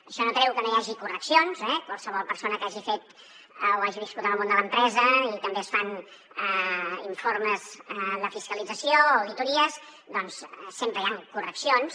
això no treu que no hi hagi correccions eh qualsevol persona que hagi fet o hagi viscut en el món de l’empresa que també es fan informes de fiscalització o auditories doncs sempre hi han correccions